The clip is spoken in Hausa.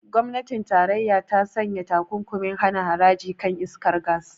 Gwamnatin tarayya ta sanya takunkumin hana haraji kan iskar gas.